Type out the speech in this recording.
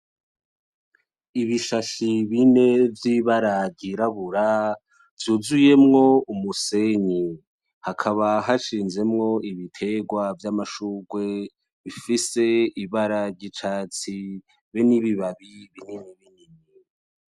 Ibishashi bine vy'ibara ry'irabura vyuzuyemwo umusenyi. Hakaba hashinzemwo ibitegwa vy'amashugwe bifise ibara ry'icatsi be n'ibibabi binini binini.